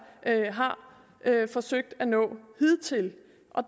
har forsøgt at nå hidtil